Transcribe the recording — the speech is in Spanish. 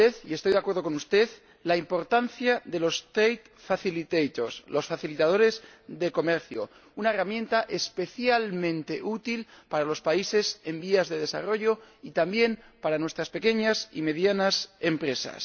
Estoy de acuerdo con usted en la importancia de los facilitadores del comercio una herramienta especialmente útil para los países en vías de desarrollo y también para nuestras pequeñas y medianas empresas.